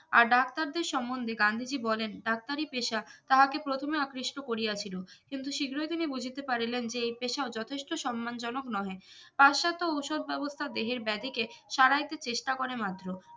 আর ডাক্তারদের সম্বন্ধে গান্ধীজি বলেন ডাক্তারি পেশা তাহাকে প্রথমে আকৃষ্ট করিয়াছিল কিন্তু শিগ্রহী তিনি বুঝিতে পারিলেন যে এই পেশা যথেষ্ট সম্মান জনক নহে প্রাশ্চাত্য ওষুধ ব্যবস্থা দেহের ব্যাধিকে সারাইতে চেস্টা করে মাত্র